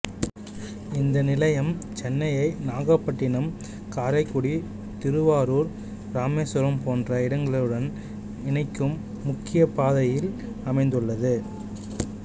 இந்த நிலையம் சென்னையை நாகப்பட்டினம் காரைக்குடி திருவாரூர் இராமேஸ்வரம் போன்ற இடங்களுடன் இணைக்கும் முக்கிய பாதையில் அமைந்துள்ளது